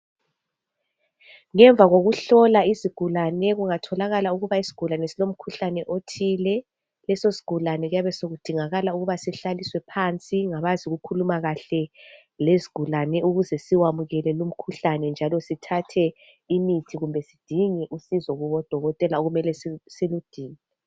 Ngemva kokuhlola izigulane, kungatholakala ukuthi isigulane silomkhuhlane othile, leso sigulane kuyabe sokudingakala ukuba sihlaliswe phansi ngabazi ukukhuluma kuhle lezigulane ukuze siwamukele lo umkhuhlane njalo sithathe imithi kube sidinge usizo kubodokotela okumele siludinge